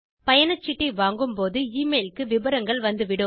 பயணச்சீட்டைவாங்கும் போது எமெயில் க்கு விபரங்கள் வந்துவிடும்